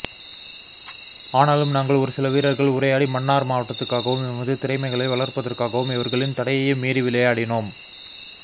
ஆனாலும் நாங்கள் ஒரு சிலவீரர்கள் உரையாடி மன்னார் மாவட்டத்துக்காகவும் எமது திறமைகளை வளர்ப்பதற்காகவும் இவர்களின் தடையையும் மீறி விளையாடினோம்